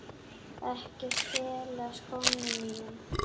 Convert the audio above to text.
Ekki stela skónum mínum!